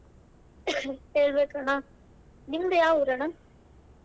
ಹೇಳಬೇಕ ಅಣ್ಣಾ ನಿಮ್ದ್ ಯಾವ್ ಊರ್ ಅಣ್ಣಾ.